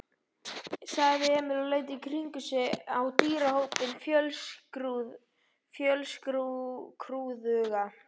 sagði Emil og leit í kringum sig á dýrahópinn fjölskrúðuga.